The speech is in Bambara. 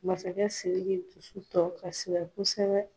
Masakɛ Siriki dusu tɔ kasira kosɛbɛ.